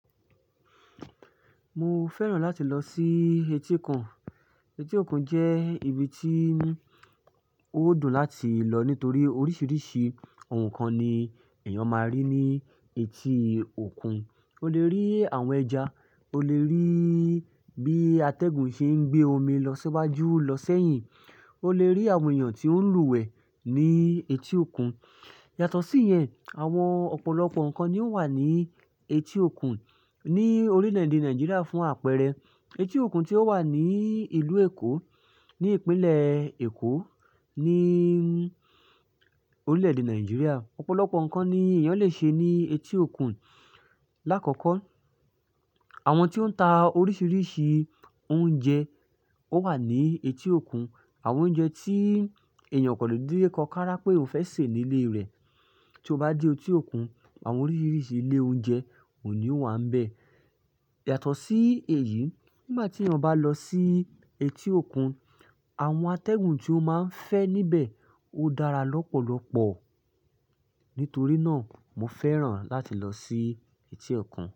Mo fẹ́ràn láti lọ sí etíkun. Etí òkun jẹ́ ibi tí ó dùn láti lọ nítorí oríṣìíríṣìí ohun kan ni èèyàn máa rí ní etí òkun. O le rí àwọn ẹja, o le rí bí atẹ́gùn ṣe ń gbé omi lọ síwájú, lọ sẹ́yìn, o le rí àwọn èèyàn tí ó ń lúwẹ̀ẹ́ ní etí òkun. Yàtọ̀ síyẹn, àwọn ọ̀pọ̀lọpọ̀ nǹkan ni ó wà ní etí òkun ní orílẹ̀-èdè Nàìjíríà fún àpẹẹrẹ etí òkun tí ó wà ní ìlú Èkó, ní ìpínlẹ̀ Èkó, ní orílẹ̀-èdè Nàìjíríà. Ọ̀pọ̀lọpọ̀ nǹkan ni èèyàn le ṣe ní etí òkun. Lákọ̀ọ́kọ́, àwọn tí ó ń ta oríṣìíríṣìí oúnjẹ wà ní etí òkun. Àwọn oúnjẹ tí èèyàn ò kàn lè dédé kọ kárá pé òun fẹ́ sè nílé rẹ̀, tí o bá dé etí òkun, àwọn oríṣìíríṣìí ilé oúnjẹ òun ní ó wà ńbẹ̀. Yàtọ̀ sí èyí, nígbà tí èèyàn bá lọ sí etí òkun, àwọn atẹ́gùn tí ó máa ń fẹ́ níbẹ̀ ó dára lọ́pọ̀lọpọ̀. Nítorí náà, mo fẹ́ràn láti lọ sí etí òkun.